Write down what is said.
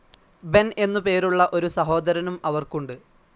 Ben എന്നു പേരുള്ള ഒരു സഹോദരനും അവർക്കുണ്ട്.